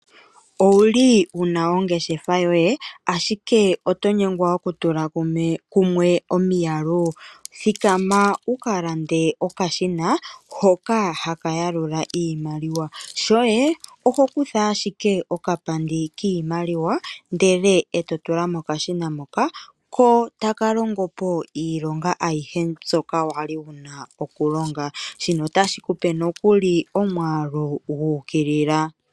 Owuli wuna ongeshefa yoye ashike oto nyengwa okutula kumwe omiyalu? Thikama wu ka lande okashina hoka haka yalula iimaliwa. Shoye oho kutha ashike okapandi kiimaliwa ndele e to tula mokashina moka. Ko taka longo po iilonga ayihe mbyoka wali wuna okulonga. Shino otashi ku pe nokuli omwaalu gu ukilila.